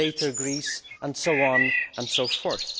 later via Greece, and so on and so forth.